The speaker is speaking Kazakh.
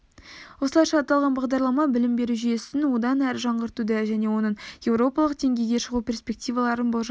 осылайша аталған бағдарлама білім беру жүйесін одан әрі жаңғыртуды және оның еуропалық деңгейге шығу перспективаларын болжайды